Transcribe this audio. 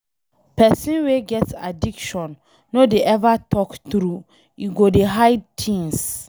Pesin wey get addiction no dey ever talk true, e go dey hide things.